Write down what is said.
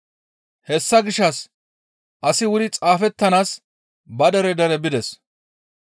Hessa gishshas asi wuri xaafettanaas ba dere dere bides.